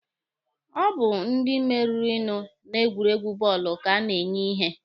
Ọ bụ ndi meririnụ na egwuregwu bọọlụ ka a ga-enye ihe.